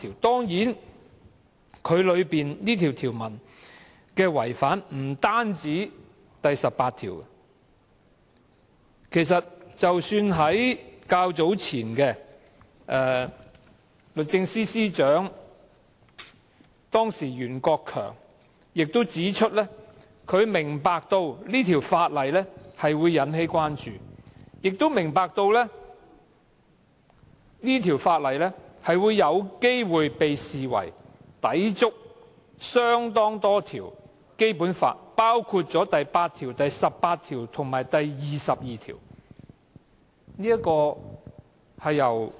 當然，《條例草案》不單違反《基本法》第十八條，前任律政司司長袁國強早前亦曾指出，他明白《條例草案》會引起關注，亦明白《條例草案》有機會被視為抵觸多項《基本法》條文，包括第八條、第十八條及第二十二條。